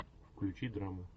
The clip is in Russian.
включи драму